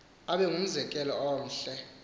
abe ngumzekelo omhle